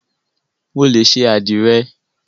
Mo lè ṣe àdìrẹ.